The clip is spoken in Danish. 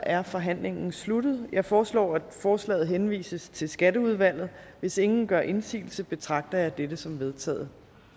er forhandlingen sluttet jeg foreslår at forslaget henvises til skatteudvalget hvis ingen gør indsigelse betragter jeg dette som vedtaget